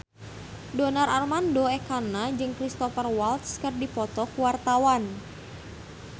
Donar Armando Ekana jeung Cristhoper Waltz keur dipoto ku wartawan